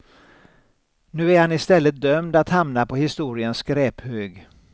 Nu är han i stället dömd att hamna på historiens skräphög.